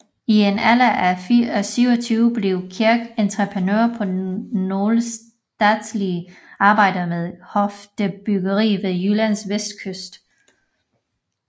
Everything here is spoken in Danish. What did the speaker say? I en alder af 27 blev Kirk entreprenør på nogle statslige arbejder med høfdebyggeri ved Jyllands vestkyst